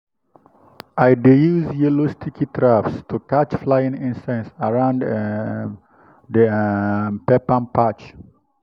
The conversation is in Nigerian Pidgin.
i dey use yellow sticky traps to catch flying insects around um the um pepper patch.